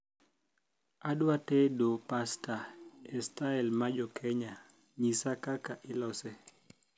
adwa tedo pasta e stail ma jokenya nyisa kaka ilose